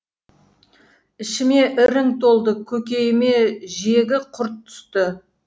ішіме ірің толды көкейіме жегі құрт түсті